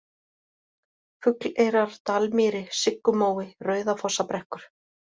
Fugleyrar, Dalmýri, Siggumói, Rauðafossabrekkur